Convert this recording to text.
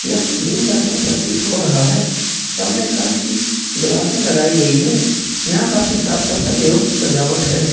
यह दिन का समय प्रतीत हो रहा है सामने कांच की ग्लासें लगाई गई है यहां काफी साफ-सफाई एवं सजावट है।